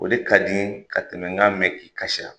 O de ka di n ye ka tɛmɛ n ka. mɛn k'i kasira